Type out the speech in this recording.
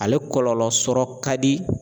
Ale kɔlɔlɔ sɔrɔ kadi.